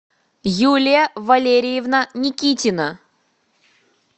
юлия валерьевна никитина